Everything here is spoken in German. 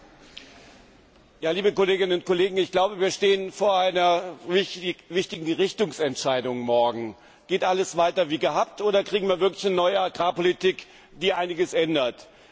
Frau Präsidentin, liebe Kolleginnen und Kollegen! Ich glaube, wir stehen morgen vor einer wichtigen Richtungsentscheidung. Geht alles weiter wie gehabt oder kriegen wir wirklich eine neue Agrarpolitik, die einiges ändert?